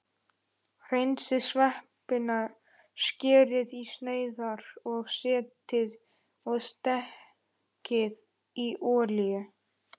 Hreinsið sveppina, skerið í sneiðar og steikið í olíu.